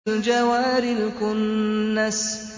الْجَوَارِ الْكُنَّسِ